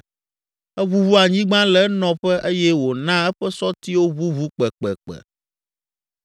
Eʋuʋu anyigba le enɔƒe eye wòna eƒe sɔtiwo ʋuʋu kpekpekpe.